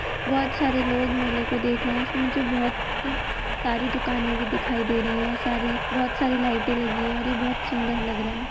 बोहोत सारे लोग मेले को देख रहे हैं इसमें मुझे बोहोत सारी दुकाने भी दिखाई दे रही है | सारी बोहोत सारी लाईटे लगी हैं और ये बोहोत सुन्दर लग रहा है।